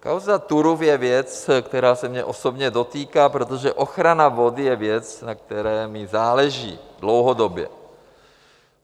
Kauza Turów je věc, která se mě osobně dotýká, protože ochrana vody je věc, na které mi záleží dlouhodobě.